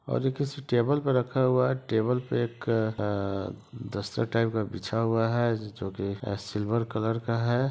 और ये किसी टेबल पे रखा हुआ है। टेबल पे एक अ दस्तर टाइप बिछा हुआ है जो कि ए सिल्वर कलर का है।